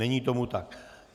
Není tomu tak.